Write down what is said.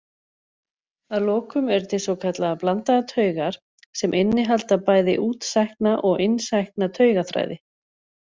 Að lokum eru til svokallaðar blandaðar taugar sem innihalda bæði útsækna og innsækna taugaþræði.